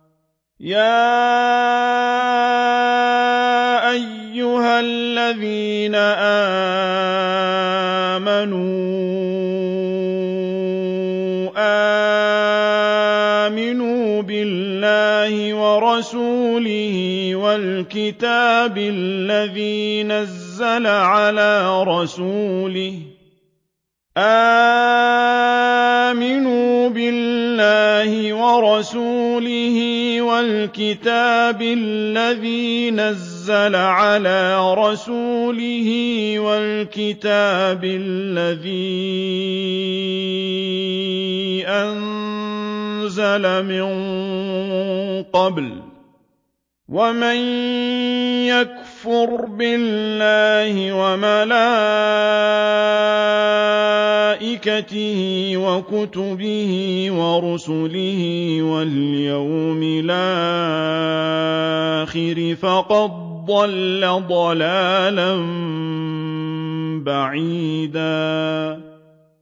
يَا أَيُّهَا الَّذِينَ آمَنُوا آمِنُوا بِاللَّهِ وَرَسُولِهِ وَالْكِتَابِ الَّذِي نَزَّلَ عَلَىٰ رَسُولِهِ وَالْكِتَابِ الَّذِي أَنزَلَ مِن قَبْلُ ۚ وَمَن يَكْفُرْ بِاللَّهِ وَمَلَائِكَتِهِ وَكُتُبِهِ وَرُسُلِهِ وَالْيَوْمِ الْآخِرِ فَقَدْ ضَلَّ ضَلَالًا بَعِيدًا